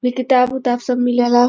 किताब उताब सब मिलेला ।